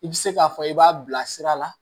I bɛ se k'a fɔ i b'a bila sira la